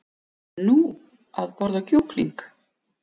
Nú, að borða kjúkling.